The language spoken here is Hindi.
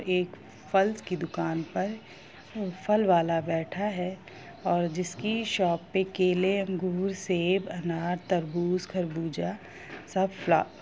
एक फल की दुकान पर वो फल वाला बैठा है और जिसकी शॉप पे केले अंगूर सेब अनार तरबूज खरबूजा सब फ्ल--